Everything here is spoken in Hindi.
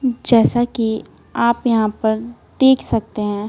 जैसा कि आप यहां पर देख सकते है।